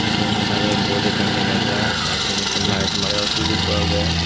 se undi sidot board ekkan dega jaar te sin ekko light marebaar switch ekko agey.